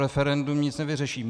Referendum nic nevyřeší.